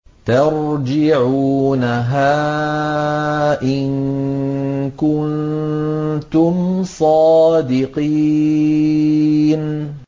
تَرْجِعُونَهَا إِن كُنتُمْ صَادِقِينَ